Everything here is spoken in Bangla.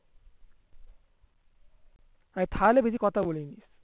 তাহলে বেশি কথা বলিনি